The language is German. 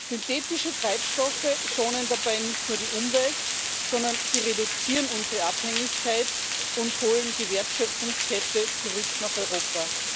Synthetische Treibstoffe schonen dabei nicht nur die Umwelt, sondern sie reduzieren unsere Abhängigkeit und holen die Wertschöpfungskette zurück nach Europa.